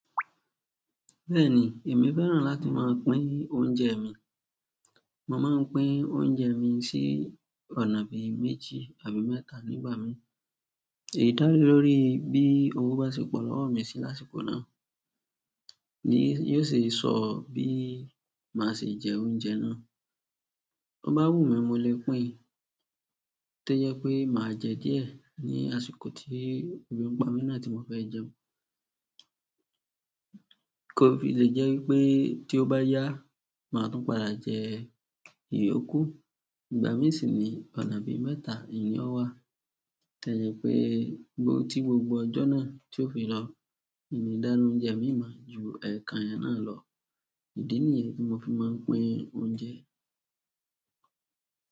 Bẹ́ẹ̀ni, èmi fẹ́ràn láti máa ń pín oúnjẹ mi. Mo máa ń pín oúnjẹ mi sí ọ̀nà bí i méjì àbí mẹ́ta nígbà mi. Èyí dálé lórí bí owó bá ṣe pọ̀ lówó mi sí lásìkò náà, ní yóò sì sọ bí màá ṣe jẹ oúnjẹ náà. Bó bá wùmí, mo lè pín, tó jẹ́ pé má jẹ díẹ̀ ní àsìkò tí ebi ń pamí náà tí mo fẹ́ jẹun. Kò fi lè jẹ́ wípé tí ó bá yá, màá tún padà jẹ ìyókù. Ìgbà mí sì ní ọ̀nà bíi mẹ́ta nìyẹn ó wà. Tó jẹ́ pé gbo tí gbogbo ọjọ́ náà tí ó fi lọ, mi nìí dáná oúnjẹ mí mọ̀ ju ẹ̀ẹ̀kan yẹn náà lọ. Ìdí nìyẹn tí mo fi má ń pín oúnjẹ.